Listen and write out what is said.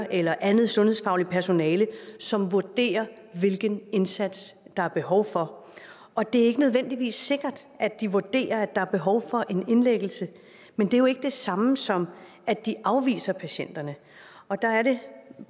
eller andet sundhedsfagligt personale som vurderer hvilken indsats der er behov for og det er ikke nødvendigvis sikkert de vurderer at der er behov for en indlæggelse men det er jo ikke det samme som at de afviser patienterne der er det